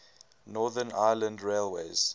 northern ireland railways